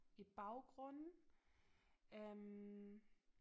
I baggrunden øh